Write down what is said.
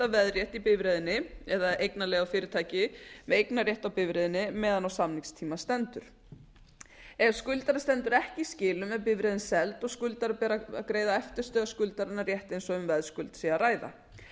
veðrétt í bifreiðinni eða eignalegu fyrirtæki með eignarrétt á bifreiðinni meðan á samningstíma stendur ef skuldari stendur ekki í skilum er bifreiðin seld og skuldara ber að greiða eftirstöðvar skuldarinnar rétt eins og um veðskuld sé að ræða